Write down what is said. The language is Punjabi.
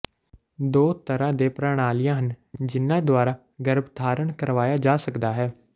ਦੋ ਤਰ੍ਹਾਂ ਦੇ ਪ੍ਰਣਾਲੀਆਂ ਹਨ ਜਿਨ੍ਹਾਂ ਦੁਆਰਾ ਗਰੱਭਧਾਰਣ ਕਰਵਾਇਆ ਜਾ ਸਕਦਾ ਹੈ